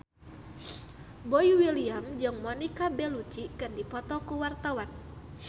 Boy William jeung Monica Belluci keur dipoto ku wartawan